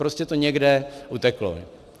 Prostě to někde uteklo.